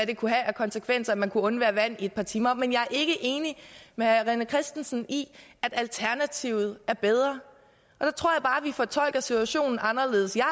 det kunne have af konsekvenser at man kunne undvære vand et par timer men jeg er ikke enig med herre rené christensen i at alternativet er bedre og der tror jeg bare at vi fortolker situationen anderledes jeg